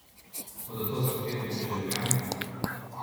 Bodo to zahtevali državljani?